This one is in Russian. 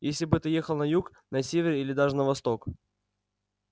если бы ты ехал на юг на север или даже на восток